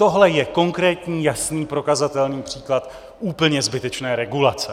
Tohle je konkrétní, jasný, prokazatelný příklad úplně zbytečné regulace.